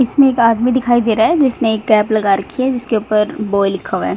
इसमें एक आदमी दिखाई दे रहा है जिसने एक कैप लगा रखी है जिसके ऊपर बॉय लिखा हुआ है।